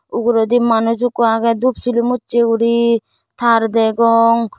uguredi manuj ekko agey dup silum usse guri tar degong.